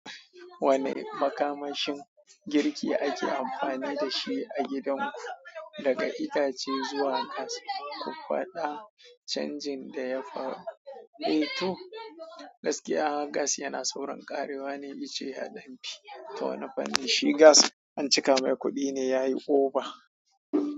Wane makamashin girki ake amfani da shi a gidanku? Daga itace zuwa gas, ku faɗa canjin da ya faru. 2. Gaskiya gas yana saurin ƙarewa ne, icce yaɗan fi. Ta wani fanni shi gas an cika mai kuɗi ne yayi oba.